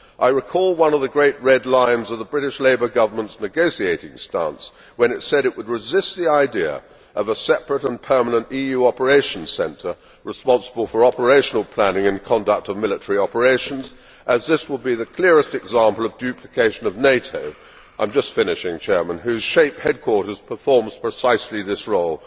I recall one of the great red lines of the British Labour Government's negotiating stance when it said it would resist the idea of a separate and permanent EU operations centre responsible for operational planning and conduct of military operations as this would be the clearest example of duplication of NATO, whose SHAPE headquarters performs precisely this role.